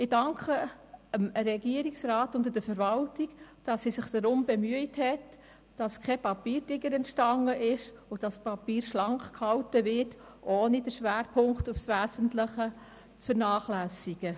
Ich danke dem Regierungsrat und der Verwaltung dafür, dass sie sich darum bemüht haben, keinen Papiertiger, sondern ein schlankes Papier zu verfassen, ohne die wesentlichen Schwerpunkte zu vernachlässigen.